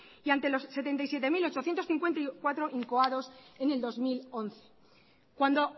y ante los setenta y siete mil ochocientos cincuenta y cuatro incoados en el dos mil once cuando